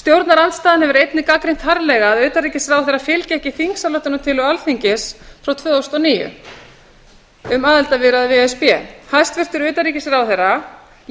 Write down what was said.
stjórnarandstaðan hefur einnig gagnrýnt harðlega að utanríkisráðherra fylgi ekki þingsályktunartillögu alþingis frá tvö þúsund og níu um aðildarviðræður við e s b hæstvirtur utanríkisráðherra